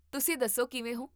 ਤੁਸੀਂ ਦੱਸੋ ਕਿਵੇਂ ਹੋ?